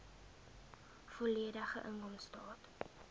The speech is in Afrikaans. volledige inkomstestaat